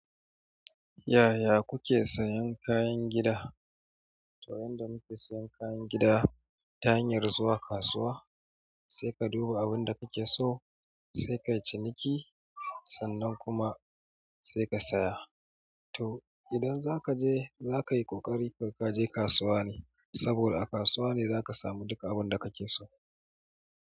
Yaya kuke sayan kayan gida? To yanda muke sayan kayan gida, ta hanyar zuwa kasuwa, sai ka duba abunda kake so, sai ka yi ciniki, sannan kuma sai ka saya. To idan zaka je, za ka yi ƙoƙari kar ka je kasuwa ne, saboda a kasuwa ne zaka samu duka abunda kake so.